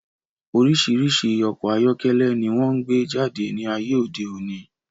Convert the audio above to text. Orísirísi ọkọ̀ ayọ́kẹ́lẹ́ ni wón gbé jáde ní ayé òde òní